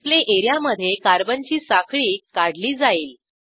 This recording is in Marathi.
डिस्प्ले एरियामधे कार्बनची साखळी काढली जाईल